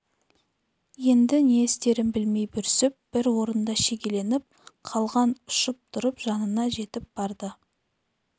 еді не істерін білмей бүрсіп бір орында шегеленіп қалған ұшып тұрып жанына жетіп барды